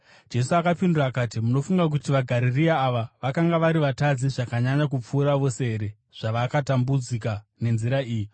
Jesu akapindura akati, “Munofunga kuti vaGarirea ava vakanga vari vatadzi zvakanyanya kupfuura vose here zvavakatambudzika nenzira iyi?